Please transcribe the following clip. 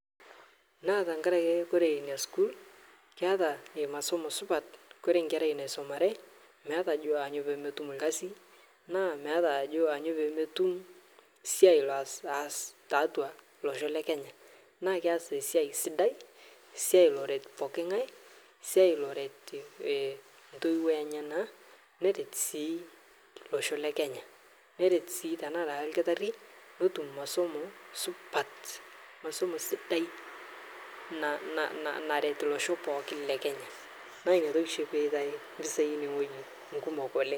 Natankaraki kore nia skul keata masomo supat kore nkerai naisomare metaaa ajo anyoo pemetum lkasin naa meta ajo aanyoo pemetum siai laas tatua losho lekenya naa keas siai sidai siai loret pooki ngae siai loret ntoiwuo enyana neret sij losho lekenya neret sii tanasi lkitari notum masomo supat masomo sidai naret losho pookin lekenya naa niatoki shii petae mpisai enie ng'oji kumok oleng'.